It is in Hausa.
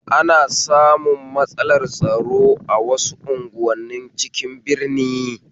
Ana samun matsalar tsaro a wasu unguwanin cikin birni